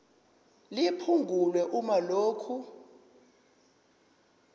liphungulwe uma lokhu